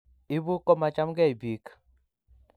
ibu komachamgei biik